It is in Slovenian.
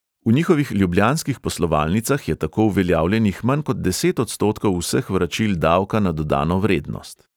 V njihovih ljubljanskih poslovalnicah je tako uveljavljenih manj kot deset odstotkov vseh vračil davka na dodano vrednost.